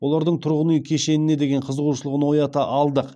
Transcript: олардың тұрғын үй кешеніне деген қызығушылығын оята алдық